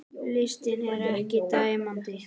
Listinn er ekki tæmandi